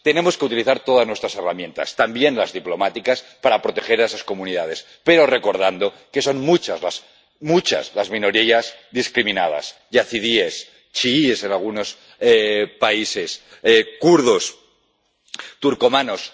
Tenemos que utilizar todas nuestras herramientas ―también las diplomáticas― para proteger a esas comunidades, pero recordando que son muchas, muchas las minorías discriminadas yazidíes, chiíes en algunos países, kurdos, turcomanos.